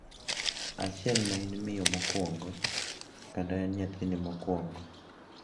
achiel ma in miyo mokwongo kendo en nyathini mokwongo.